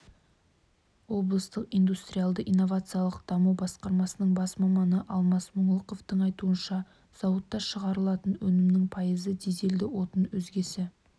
облыстық индустриялды-инновациялық даму басқармасының бас маманы алмас мұңлықовтың айтуынша зауытта шығарылатын өнімнің пайызы дизельді отын өзгесі